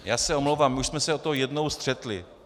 Já se omlouvám, my už jsme se o to jednou střetli.